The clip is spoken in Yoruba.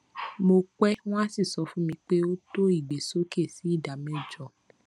mo pè wọn a sì sọ fún mi pé ó tó ìgbésókè sí ìdá mẹjọ